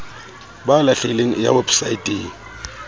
ba lahlehileng e ya weposaeteng